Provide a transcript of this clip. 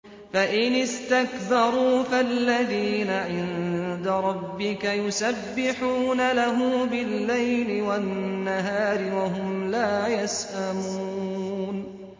فَإِنِ اسْتَكْبَرُوا فَالَّذِينَ عِندَ رَبِّكَ يُسَبِّحُونَ لَهُ بِاللَّيْلِ وَالنَّهَارِ وَهُمْ لَا يَسْأَمُونَ ۩